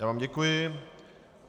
Já vám děkuji.